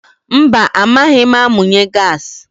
Mba amaghị m amunye gaasi.